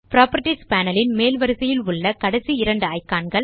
properties panel ன் மேல் வரிசையில் உள்ள கடைசி இரண்டு இக்கான் கள்